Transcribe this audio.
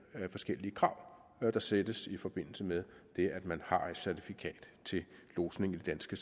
forskellige krav der stilles i forbindelse med det at man har et certifikat til lodsning i de danske